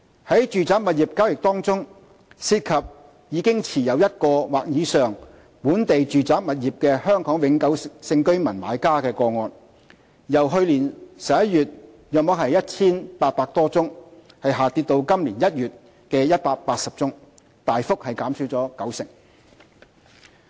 在住宅物業交易中，涉及已持有1個或以上本地住宅物業的香港永久性居民買家個案，由去年11月約 1,800 多宗下跌至今年1月的180宗，大幅減少九成。